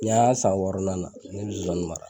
Ni y'an y'a san wɔɔrɔnan na ne be zonzani mara